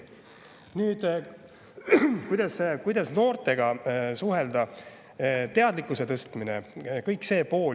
Nüüd see pool, kuidas noortega suhelda ja nende teadlikkust tõsta.